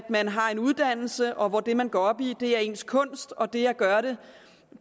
man har en uddannelse og hvor det man går op i er ens kunst og det at gøre det